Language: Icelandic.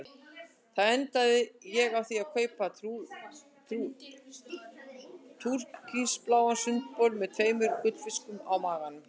Þar endaði ég á því að kaupa túrkisbláan sundbol með tveimur gullfiskum á maganum.